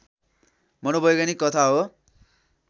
मनोवैज्ञानिक कथा हो